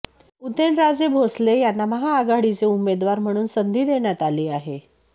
उदयनराजे भोसले यांना महाआघाडीचे उमेदवार म्हणून संधी देण्यात आली आहे